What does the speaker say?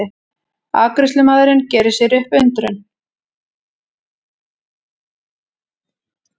Afgreiðslumaðurinn gerir sér upp undrun.